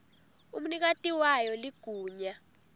umnikati wayo ligunya